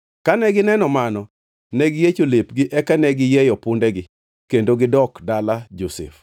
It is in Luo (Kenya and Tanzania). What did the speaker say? Kane gineno mano ne giyiecho lepgi, eka ne giyieyo pundegi kendo gidok dala Josef.